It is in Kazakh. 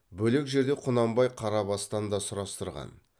бөлек жерде құнанбай қарабастан да сұрастырған